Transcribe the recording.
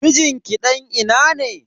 Mijin ki dan ina ne?